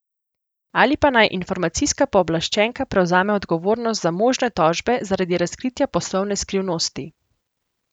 Ali pa naj informacijska pooblaščenka prevzame odgovornost za možne tožbe zaradi razkritja poslovne skrivnosti.